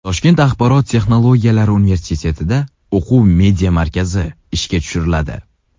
Toshkent axborot texnologiyalari universitetida o‘quv media markazi ishga tushiriladi.